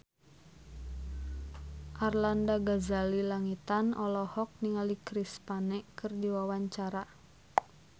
Arlanda Ghazali Langitan olohok ningali Chris Pane keur diwawancara